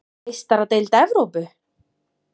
Meistaradeild Evrópu:??